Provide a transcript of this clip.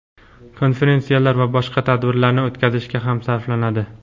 konferensiyalar va boshqa tadbirlarni o‘tkazishga ham sarflanadi.